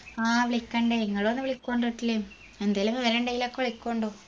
ആ വിളിക്കണ്ട് ഇങ്ങളു എന്തേലും വിവരണ്ടെങ്കിലൊക്കെ വിളികുണ്ടു